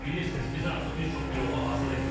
Bilirsiniz, biz artıq bir çox girovu azad etmişik.